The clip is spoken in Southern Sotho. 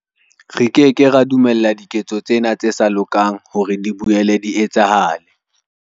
Re ke ke ra dumella diketso tsena tse sa lokang hore di boele di etsahale.